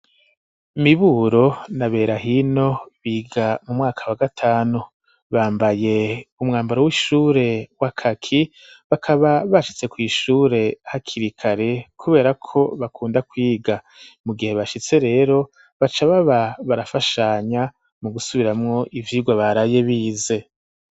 Miburo na Berahino biga mu mwaka wa gatanu bambaye umwambaro w'ishure wa kaki bakaba bashitse kw'ishure hakiri kare kubera ko bakunda kwiga mu gihe bashitse rero baca baba barafashanya mu gusubiramwo ivyirwa baraye bize.